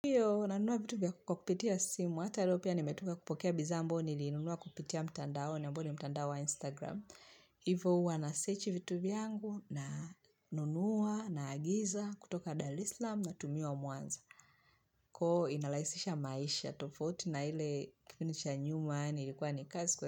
Hiyo nanunua vitu kwa kupitia simu, hata leo pia nimetoka kupokea bidhaa ambao nilinunua kupitia mtandao na ambao ni mtandao wa instagram. Hivo uwa nasearch vitu vyangu na nunua naagiza kutoka dalislam natumiwa mwanza. Koo inalaisisha maisha, tofauti na hile kipindi cha nyuma, nilikuwa ni kazi kwa.